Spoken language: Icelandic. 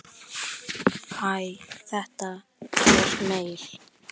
Hæ, þetta er Emil.